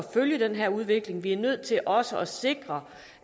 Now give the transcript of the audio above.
følge den her udvikling vi er nødt til også at sikre